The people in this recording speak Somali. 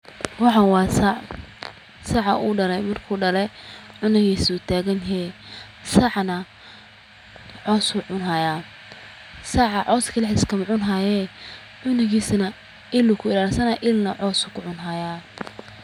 Waxan waa sac, saca wuu dhale, marka uu dhale canugiisa wuu tagan yehe sacana cowsu cuni haya, cows keli iskama cun haye canugis na il uu ku illashani haaya illna cows uu kucuni haya